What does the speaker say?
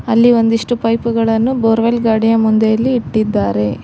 ಅಲ್ಲಿ ಒಂದಿಷ್ಟು ಪೈಪ್ ಗಳನ್ನು ಬೋರ್ವೆಲ್ ಗಾಡಿಯ ಮುಂದೆ ಎಲ್ಲಿ ಇಟ್ಟಿದ್ದಾರೆ.